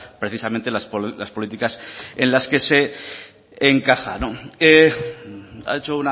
precisamente las políticas en las que se encaja ha hecho